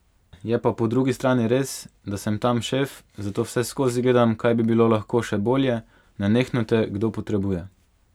Je pa po drugi strani res, da sem tam šef, zato vseskozi gledam, kaj bi bilo lahko še bolje, nenehno te kdo potrebuje.